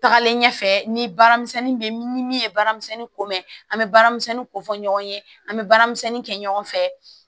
Tagalen ɲɛfɛ ni baaramisɛnni bɛ ni min ye baaramisɛnnin ko bɛ an bɛ baaramisɛnnin ko fɔ ɲɔgɔn ye an bɛ baaramisɛnnin kɛ ɲɔgɔn fɛ